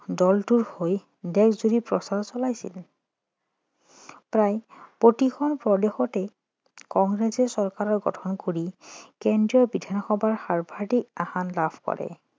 দলটোৰ হৈ দেশজুৰি প্ৰচাৰ চলাইছিল প্ৰায় প্ৰতিখন প্ৰদেশতে কংগ্ৰেছে চৰকাৰ গঠন কৰি কেন্দ্ৰীয় বিধানসভাৰ সৰ্বাধিক আসন লাভ কৰে